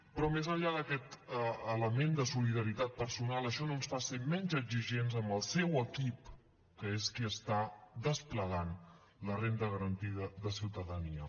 però més enllà d’aquest element de solidaritat personal això no ens fa ser menys exigents amb el seu equip que és qui està desplegant la renda garantida de ciutadania